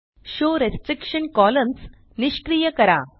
show restriction columns निष्क्रिय करा